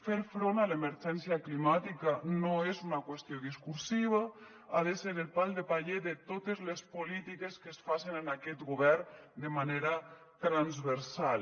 fer front a l’emergència climàtica no és una qüestió discursiva ha de ser el pal de paller de totes les polítiques que es facen en aquest govern de manera transversal